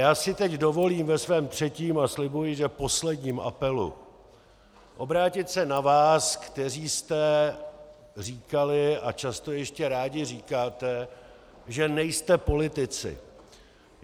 Já si teď dovolím ve svém třetím a slibuji, že posledním apelu obrátit se na vás, kteří jste říkali a často ještě rádi říkáte, že nejste politici.